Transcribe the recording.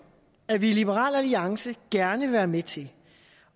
at vi i liberal alliance gerne vil være med til